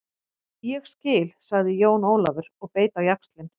Ég skil, sagði Jón Ólafur og beit á jaxlinn.